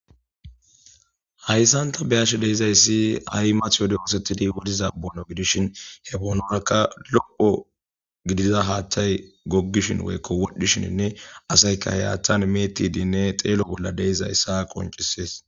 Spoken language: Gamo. Haysan ta be'ashe dizaysi ha'i mati wode oosetida boonuwa gidishin he bonuwaraka lo'o gidiza haathay gogishen woyko wodhishinine asyka he haathan me'erhidine xeelo bola de'izaysa qoncises.